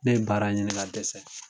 Ne ye baara ɲini ka dɛsɛ